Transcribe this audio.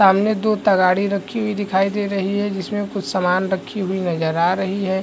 सामने दो तगाड़ी रखी हुई दिखाई दे रही है जिसमे कुछ समान रखी हुई नज़र आ रही है।